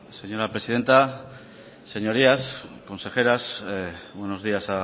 señora presidenta señorías consejeras buenos días